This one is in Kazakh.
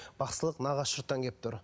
бақсылық нағашы жұрттан келіп тұр